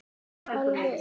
Alveg eins!